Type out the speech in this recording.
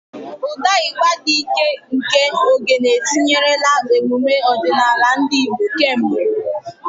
Ụda igba dị ike nke Ogene etinyerela emume ọdịnala ndị Igbo kemgbe.